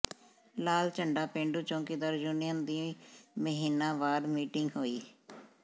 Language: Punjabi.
ਲਾਲ ਝੰਡਾ ਪੇਂਡੂ ਚੌਂਕੀਦਾਰ ਯੂਨੀਅਨ ਦੀ ਮਹੀਨਾਵਾਰ ਮੀਟਿੰਗ ਹੋਈ